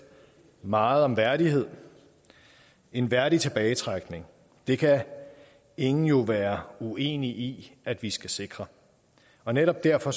meget om værdighed en værdig tilbagetrækning det kan ingen jo være uenig i at vi skal sikre og netop derfor